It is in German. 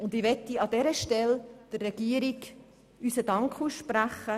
Ich möchte der Regierung an dieser Stelle unseren Dank aussprechen.